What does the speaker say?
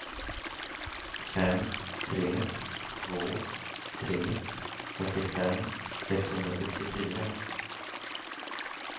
fem tre två tre fyrtiofem sexhundrasextiofyra